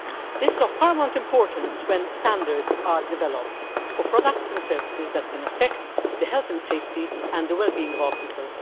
This is of paramount importance when standards are developed for products and services that can affect the health and safety and the wellbeing of people.